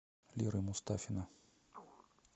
леры мустафина